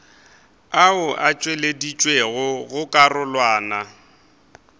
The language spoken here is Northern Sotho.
ao a tšweleditšwego go karolwana